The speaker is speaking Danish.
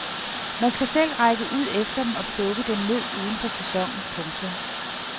Man skal selv række ud efter dem og plukke dem ned uden for sæsonen. punktum